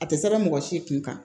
A tɛ sɛbɛn mɔgɔ si kun kan